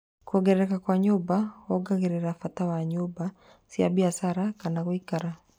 Kwongerereka kwa nyũmba wongagĩrĩra bata wa nyũmba, cia biacara kana gũikara